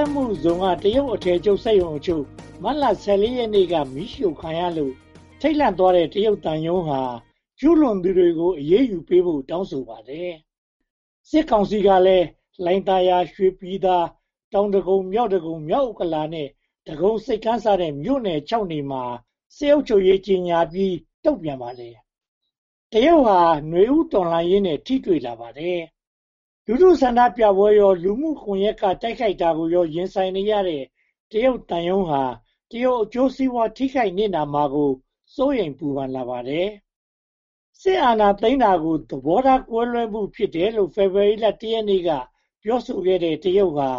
က်မှုဇုန်က တရုတ်အထည်ချုပ်စက်ရုံအချို့ မတ်လ ရက်နေ့က မီးရှို့ခံရလို့ ထိတ်လန့်သွားတဲ့ တရုတ်သံရုံးဟာ ကျူးလွန်သူတွေကို အရေးယူပေးဖို့ တောင်းဆိုပါတယ်။ စစ်ကောင်စီကလည်း လှိုင်သာယာ၊ ရွှေပြည်သာ၊ တောင်ဒဂုံ၊ မြောက်ဒဂုံ၊ မြောက်ဥက္ကလာပနဲ့ ဒဂုံဆိပ်ကမ်းစတဲ့ မြို့နယ် မြို့နယ်မှာ စစ်အုပ်ချုပ်ရေးကြေညာပြီး တုံ့ပြန်ပါတယ်။ တရုတ်ဟာ နွေဦးတော်လှန်ရေးနဲ့ ထိတွေ့လာပါတယ်။ လူထုဆန္ဒပြပွဲကိုရော လူမှုကွန်ရက်ကနေ တိုက်ခိုက်မှုကိုရော ရင်ဆိုင်နေရတဲ့ တရုတ်သံရုံးဟာ တရုတ်အကျိုးစီးပွား ထိခိုက်နစ်နာမှာကို စိုးရိမ်ပူပန်လာပါတယ်။ စစ်အာဏာသိမ်းတာကို သဘောထားကွဲလွဲမှု ဖြစ်တယ်လို့ ဖေဖေါ်ဝါရီလ ရက်နေ့က ပြောဆိုခဲ့တဲ့ တရုတ်ဟာ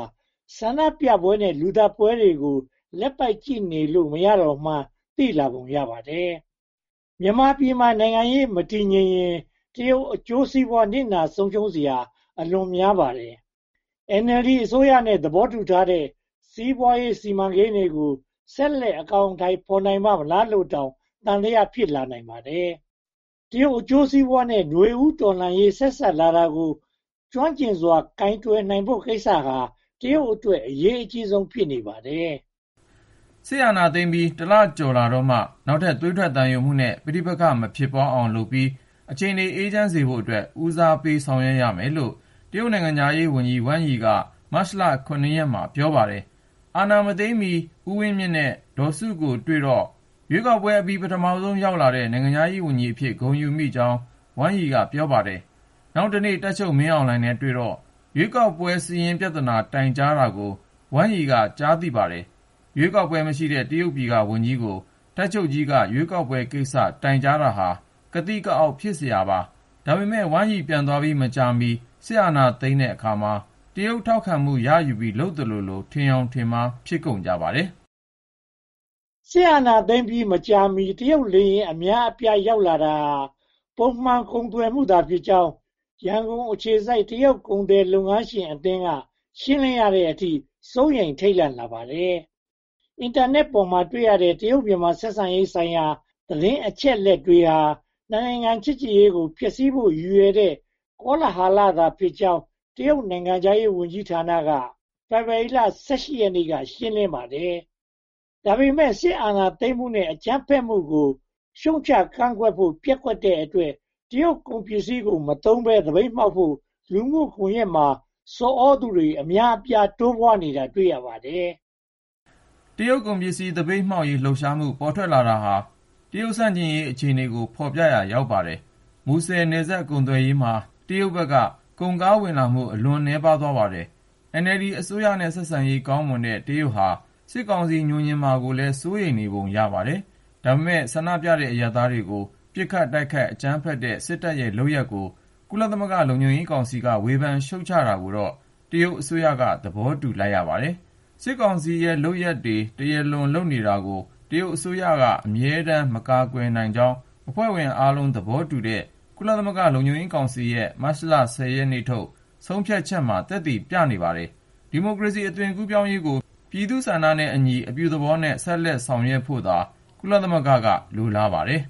ဆန္ဒပြပွဲနဲ့ လူသတ်ပွဲတွေကို လက်ပိုက်ကြည့်လို့ မရတော့မှန်း သိလာပုံရပါတယ်။ မြန်မာပြည်မှာ နိုင်ငံရေးမတည်ငြိမ်ရင် တရုတ်အကျိုးစီးပွား နစ်နာဆုံးရှုံးစရာ အလွန်များပါတယ်။ NLD အစိုးရနဲ့ သဘောတူထားတဲ့ စီးပွားရေးစီမံကိန်းတွေကို ဆက်လက်အကောင်အထည် ဖော်နိုင်ပါ့မလားလိုတောင် သံသယ ဖြစ်လာနိုင်ပါတယ်။ တရုတ်အကျိုးစီးပွားနဲ့ နွေဦးတော်လှန်ရေး ဆက်စပ်လာတာကို ကျွမ်းကျင်စွာ ကိုင်တွယ်ဖို့ကိစ္စဟာ တရုတ်အတွက် အရေးကြီးဆုံး ဖြစ်နေပါတယ်။ စစ်အာဏာသိမ်းပြီး လကျော်ကြာတော့မှ နောက်ထပ်သွေးထွက်သံယိုမှုနဲ့ ပဋိပက္ခ မဖြစ်ပွားအောင်လုပ်ပြီး အခြေအနေ အေးချမ်းစေဖို့အတွက် ဦးစားပေးဆောင်ရွက်ရမယ်လို့ နိုင်ငံခြားရေးဝန်ကြီး ဝမ်ရိ က မတ်လ ရက်မှာ ပြောပါတယ်။ အာဏာမသိမ်းမီ ဦးဝင်းမြင့်နဲ့ ဒေါ်စုတို့ကိုတွေ့တော့ ရွေးကောက်ပွဲအပြီး ပထမဆုံး ရောက်လာတဲ့ နိုင်ငံခြားရေးဝန်ကြီးအဖြစ် ဂုဏ်ယူမိကြောင်း ဝမ်ရိက ပြောပါတယ်။ နောက်တနေ့ တပ်ချုပ်မင်းအောင်လှိုင်နဲ့တွေ့တော့ ရွေးကောက်ပွဲစာရင်း ပြဿနာတိုင်ကြားတာကို ဝမ်ရိ က ကြားရပါတယ်။ ရွေးကောက်ပွဲ မရှိတဲ့ တရုတ်ပြည်ကဝန်ကြီးကို တပ်ချုပ်ကြီးက ရွေးကောက်ပွဲကိစ္စ တိုင်ကြာတာဟာ ကသိကအောက် ဖြစ်စရာပါ။ ဒါပေမဲ့ ဝမ်ရိ ပြန်သွားပြီး မကြာမီ စစ်အာဏာသိမ်းတဲ့အခါမှာ တရုတ် ထောက်ခံမှုရယူပြီး လုပ်သလိုလို ထင်ယောင်ထင်မှား ဖြစ်ကုန်ကြပါတယ်။ စစ်အာဏာသိမ်းပြီး မကြာမီ တရုတ်လေယာဉ် အများအပြား လာရောက်တာဟာ ပုံမှန်ကုန်သွယ်မှုသာဖြစ်ကြောင်း ရန်ကုန်အခြေစိုက် တရုတ်လုပ်ငန်း ကုန်သည်လုပ်ငန်းရှင်အသင်းက ရှင်းလင်းရတဲ့အထိ စိုးရိမ်ထိတ်လန့်လာပါတယ်။ အင်တာနက်ပေါ်မှာ တွေ့ရတဲ့ တရုတ်-မြန်မာ ဆက်ဆံရေးဆိုင်ရာ သတင်းအချက်အလက်တွေဟာ နိုင်ငံ ချစ်ကြည်ရေးကို ဖျက်ဆီးဖို့ ရည်ရွယ်တဲ့ ကောလဟာလဖြစ်ကြောင်း တရုတ်နိုင်ငံခြားရေးဝန်ကြီးဌာနက ဖေဖေါ်ဝါရီလ ရက်နေ့က ရှင်းလင်းပါတယ်။။ ဒါပေမဲ့ စစ်အာဏာသိမ်းမှုနဲ့ အကြမ်းဖက်မှုကို ရှုတ်ချကန့်ကွက်ဖို့ ပျက်ကွက်တဲ့အတွက် တရုတ်ကုန်ပစ္စည်းကို မသုံးဘဲ သပိတ်မှောက်ဖို့ လူမှုကွန်ရက်မှာ ဆော်သြသူတွေ အများအပြား တိုးပွားနေတာ တွေ့ရပါတယ်။ တရုတ်ကုန်ပစ္စည်း သပိတ်မှောက်ရေး လှုပ်ရှားမှု ပေါ်ထွက်လာတာဟာ တရုတ်ဆန့်ကျင်ရေး အခြေအနေကို ဖော်ပြရာ ရောက်ပါတယ်။ မူဆယ်နယ်စပ် ကုန်သွယ်ရေးမှာ တရုတ်ဘက်က ကုန်ကားဝင်လာမှု အလွန်နည်းပါးသွားပါတယ်။ NLD အစိုးရနဲ့ ဆက်ဆံရေးကောင်းမွန်တဲ့ တရုတ်ဟာ စစ်ကောင်စီ ငြိုငြင်မှာကိုလည်း စိုးရိမ်နေပုံရပါတယ်။ ဒါပေမဲ့ ဆန္ဒပြနေတဲ့ အရပ်သားတွေကို ပစ်ခတ်တိုက်ခိုက် အကြမ်းဖက်တဲ့ စစ်တပ်ရဲ့လုပ်ရပ်ကို ကုလသမဂ္ဂ လုံခြုံရေးကောင်စီက ဝေဖန်ရှုတ်ချတာကိုတော့ တရုတ်အစိုးရက သဘောတူလိုက်ပါတယ်။ စစ်ကောင်စီရဲ့ လုပ်ရပ်တွေ တရားလွန်နေတာကို တရုတ်အစိုးရ အမြဲတမ်း မကာကွယ်နိုင်ကြောင်း အဖွဲ့ဝင်အားလုံးသဘောတူတဲ့ ကုလသမဂ္ဂ လုံခြုံရေးကောင်စီရဲ့ မတ်လ ရက်နေ့ထုတ် ဆုံးဖြတ်ချက်က သက်သေပြနေပါတယ်။ ဒီမိုကရေစီ အသွင်ကူးပြောင်းရေးကို ပြည်သူ့ဆန္ဒနဲ့အညီ အပြုသဘောနဲ့ ဆက်လက်ဆောင်ရွက်ဖို့သာ ကုလသမဂ္ဂက လိုလားပါတယ်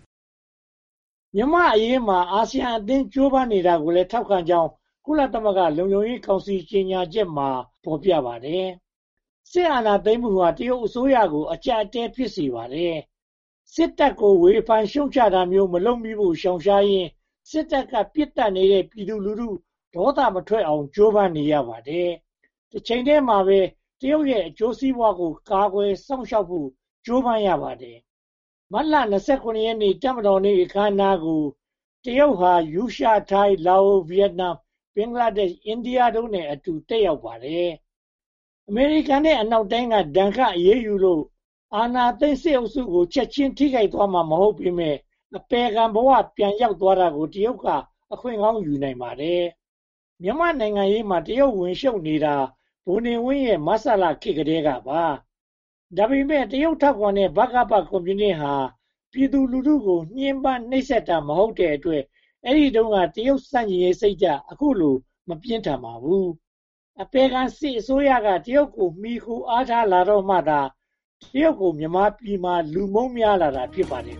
။ မြန်မာ့အရေးမှာ အာဆီယံအသင်း ကြိုးပမ်းနေတာကိုလည်း ထောက်ခံကြောင်း ကုလသမဂ္ဂ လုံခြုံရေးကောင်စီ ကြေညာချက်မှာ ဖော်ပြထားပါတယ်။ စစ်အာဏာသိမ်းမှုဟာ တရုတ်အစိုးရကို အကျပ်အတည်း ဖြစ်စေပါတယ်။ စစ်တပ်ကို ဝေဖန်ရှုတ်ချတာမျိုး မလုပ်မိဖို့ ရှောင်ရှားရင်း စစ်တပ်က ပစ်သတ်နေတဲ့ ပြည်သူလူထု ဒေါသမထွက်အောင် ကြိုးပမ်းနေရပါတယ်။ တချိန်တည်းမှာပဲ တရုတ်ရဲ့ အကျိုးစီးပွားကို ကာကွယ်စောင့်ရှောက်ဖို့ ကြိုးပမ်းရပါတယ်။ မတ်လ ရက် တပ်မတော်နေ့ အခမ်းအနားကို တရုတ်ဟာ ရုရှား၊ ထိုင်း၊ လာအို၊ ဗိယက်နမ်၊ ဘင်္ဂလားဒေ့ရှ်၊ အိန္ဒိယတို့နဲ့အတူ တက်ရောက်ခဲ့ပါတယ်။ အမေရိကန်နဲ့ အနောက်နိုင်ငံတွေက ဒဏ်ခတ်အရေးယူလို့ အာဏာသိမ်းစစ်အုပ်စုကို ချက်ချင်းထိခိုက်သွားမှာ မဟုတ်ပေမယ့် အပယ်ခံဘဝ ပြန်ရောက်သွားတာကို တရုတ်က အခွင့်ကောင်းယူနိုင်ပါတယ်။ မြန်မာနိုင်ငံရေးမှာ တရုတ်ဝင်ရှုတ်နေတာ ဗိုလ်နေဝင်းရဲ့ မဆလခေတ်ကတည်းပါ ဒါပေမဲ့ တရုတ် ထောက်ခံတဲ့ ဗကပ ကွန်မြူနစ်ဟာ ပြည်သူလူထုကို ညှဉ်းပန်းနှိပ်စက်တာ မဟုတ်တဲ့အတွက် အဲဒီတုန်းက တရုတ်ဆန့်ကျင်ရေးစိတ်ဓါတ် အခုလို မပြင်းထန်ပါဘူး။ အပယ်ခံစစ်အစိုးရက တရုတ်ကို မှီခိုအားထားလာတော့မှသာ တရုတ်ကို မြန်မာပြည်မှာ လူမုန်းများလာတာ ဖြစ်ပါတယ်